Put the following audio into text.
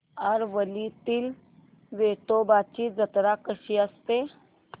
आरवलीतील वेतोबाची जत्रा कशी असते